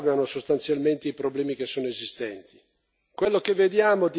risolvono o non aggravano sostanzialmente i problemi che sono esistenti.